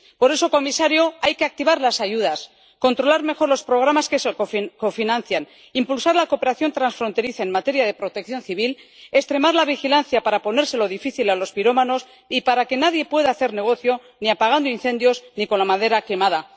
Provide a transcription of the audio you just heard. Por eso, señor comisario, hay que activar las ayudas, controlar mejor los programas que se cofinancian, impulsar la cooperación transfronteriza en materia de protección civil y extremar la vigilancia para ponérselo difícil a los pirómanos y para que nadie pueda hacer negocio, ni apagando incendios ni con la madera quemada.